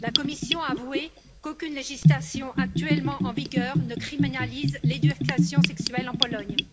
La commission a avoué qu'aucune législation actuellement en vigueur ne criminalise l'éducation sexuelle en Pologne.